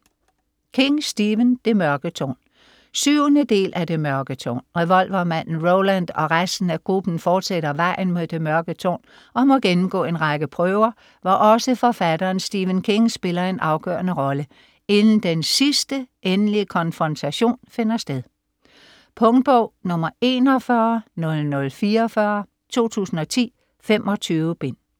King, Stephen: Det mørke tårn 7. del af Det mørke tårn. Revolvermanden Roland og resten af gruppen fortsætter vejen mod det mørke tårn, og må gennemgå en række prøver, hvor også forfatteren Stephen King spiller en afgørende rolle, inden den sidste, endelige konfrontation finder sted. Punktbog 410044 2010. 25 bind.